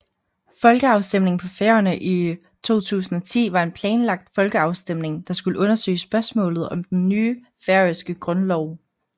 Folkeafstemningen på Færøerne i 2010 var en planlagt folkeafstemning der skulle undersøge spørgsmålet om den nye færøske grundlov